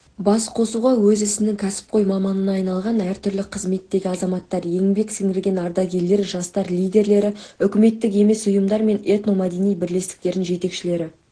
басқосуға өз ісінің кәсіпқой маманына айналған әртүрлі қызметтегі азаматтар еңбек сіңірген ардагерлер жастар лидерлері үкіметтік емес ұйымдар мен этномәдени бірлестіктердің жетекшілері